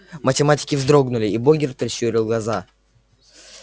математики вздрогнули и богерт прищурил глаза